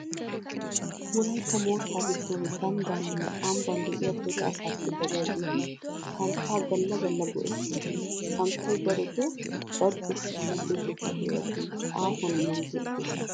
Wolaytta moottaa giddon ganddaaninne ambban de'iya dere asaappe dariyageeti santtaa galla galla go"ettosoona. Santtay darotoo barggottiyanne gezzettiya heeratun aahuwan murutettees.